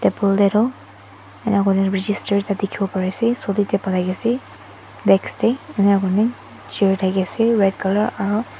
table tey toh enika koina register ekta dekhibo pari ase solitep ase desk tey eni koina chair thaki ase red colour aro.